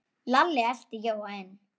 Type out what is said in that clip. Lalli elti Jóa inn.